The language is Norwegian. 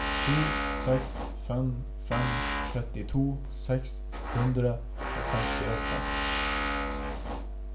to seks fem fem trettito seks hundre og femtiåtte